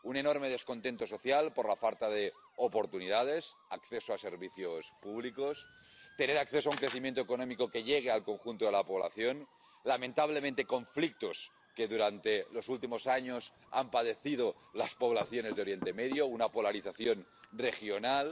Un enorme descontento social por la falta de oportunidades, acceso a servicios públicos, acceso a un crecimiento económico que llegue al conjunto de la población, lamentablemente, conflictos que durante los últimos años han padecido las poblaciones de Oriente Medio, una polarización regional.